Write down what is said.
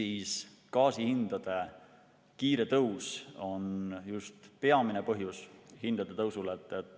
Just gaasihindade kiire tõus on hindade tõusu peamine põhjus.